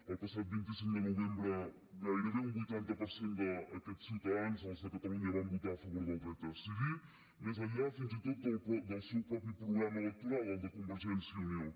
el passat vint cinc de novembre gairebé un vuitanta cinc per cent d’aquests ciutadans els de catalunya van votar a favor del dret a decidir més enllà fins i tot del seu mateix programa electoral el de convergència i unió